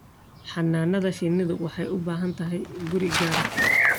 Xannaanada shinnidu waxay u baahan tahay guri gaar ah.